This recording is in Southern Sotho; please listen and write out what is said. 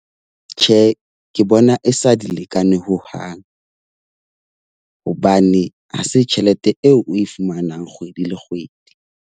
Tjhe, ke bona e sa di lekane hohang, hobane ha se tjhelete e, oe fumanang kgwedi le kgwedi.